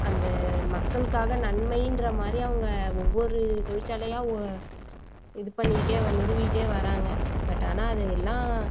அந்த மக்களுக்காக நன்மைன்ற மாதிரி அவங்க ஒவ்வொரு தொழிற்சாலையா ஓ இது பண்ணிட்டே நிறுவிக்கிட்டே வராங்க but ஆனா அது எல்லாம்